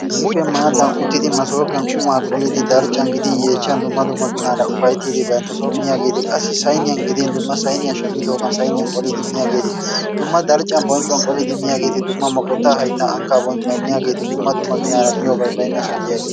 Issippe maadan uttidi massopiyan quma qollidi darccan gidin yeechchan dumma dumma ginaara ufayttiidi bantta soon miyaageeti qassi sayniiyaan gidin dumma sayniyaa shammidoogan sayniiyan qollidi miyyageeti dumma darccan bonccuwan qollidi miyaageeti, dumma moqotta hayttan, ankkan bonccuwaan qollidi miyaageeti dumma dumma ginaara miyyobay baynnassan diyaageeti